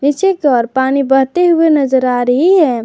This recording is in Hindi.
पीछे की ओर पानी बहते हुए नजर आ रही है।